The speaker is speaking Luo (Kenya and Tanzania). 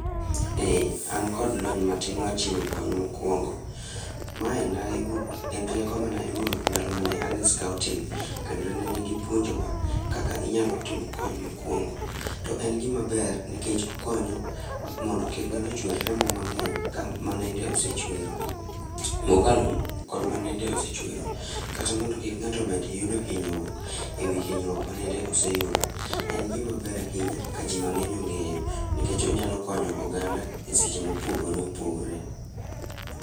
Ee an kod lony matin mar chiwo kony mokwongo. Mae nayudo en rieko manayudo ndalo mane an e scouting kendo nene gipuonjowa kaka inyalo timo kony mokwongo. To en gimaber nikech okonyo, mondo kik ng'ato chwer remo mang'eny ka ma nende osechwero, mokalo kod ma nende osechwero. Kata mondo kik ng'ato med yudo hinyruok ewi hinyruok ma nende oseyudo. En gimaber ahinya ka jimang'eny ong'eyo nikech onyalo konyo oganda e seche mopogore opogore